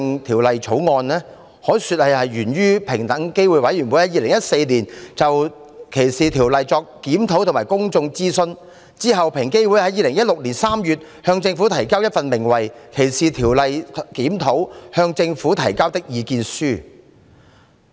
《條例草案》源於平機會在2014年對歧視條例作出的檢討和公眾諮詢，其後，平機會在2016年3月向政府提交《歧視條例檢討：向政府提交的意見書》。